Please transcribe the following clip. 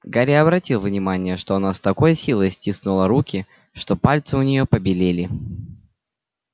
гарри обратил внимание что она с такой силой стиснула руки что пальцы у нее побелели